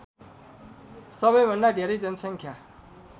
सबैभन्दा धेरै जनसङ्ख्या